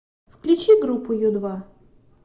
включи группу ю два